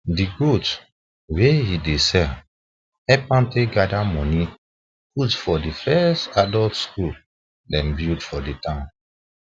the goats wey he dey sell help am take gather money put for the first adult school them build for the town